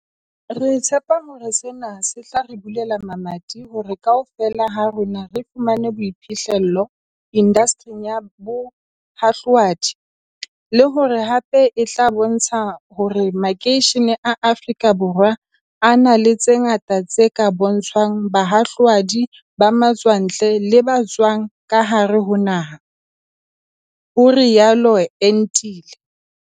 "Re tshepa hore sena se tla re bulela mamati hore kaofela ha rona re fumane boiphihle llo indastering ya bohahlua di, le hore hape e tla bontsha hore makeishene a Afrika Borwa a na le tse ngata tse ka bontshwang bahahlaudi ba matswantle le ba tswang ka hare ho naha" ho rialo Entile.